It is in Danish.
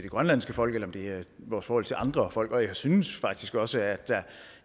grønlandske folk eller om det er vores forhold til andre folk og jeg synes faktisk også at der